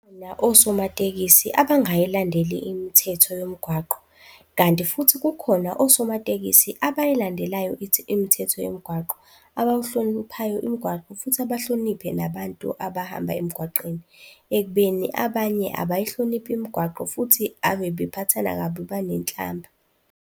osomatekisi abangayilandeli imithetho yomgwaqo kanti futhi kukhona osomatekisi abayilandelayo imithetho yomgwaqo, abawuhloniphayo imigwaqo futhi abahloniphe nabantu abahamba emgwaqeni ekubeni abanye abayihloniphi imigwaqo. Futhi ave bephathana kabi, banenhlamba.